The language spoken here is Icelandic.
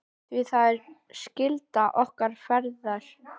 Því það er skylda okkar feðra.